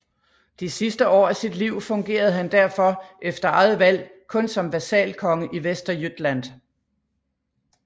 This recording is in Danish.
De sidste år af sit liv fungerede han derfor efter eget valg kun som vasalkonge i Västergötland